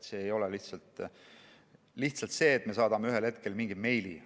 See ei ole lihtsalt see, et me saadame ühel hetkel mingi meili.